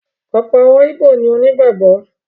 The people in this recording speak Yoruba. ọ̀pọ̀ àwọn ìbó ni onígbàgbọ́.